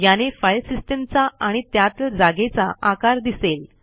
याने फाईल सिस्टीमचा आणि त्यातील जागेचा आकार दिसेल